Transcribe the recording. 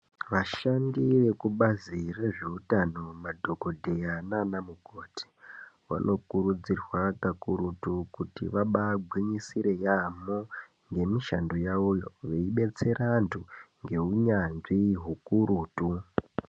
Vashandi vebazi rezveutano madhokodheya nana mukoti vanokurudzirwa pakurutu kuti vabagwinyisire yaamho ngemishando yavoyo veidetsera vantu ngeunyanzvi ukurutu.